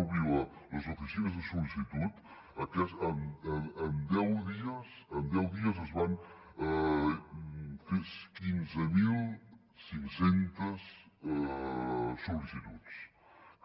obrir les oficines de sol·licitud en deu dies es van fer quinze mil cinc cents sol·licituds